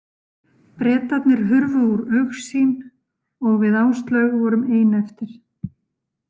Bretarnir hurfu úr augsýn og við Áslaug vorum ein eftir.